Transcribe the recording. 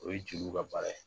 O ye jeliw ka baara ye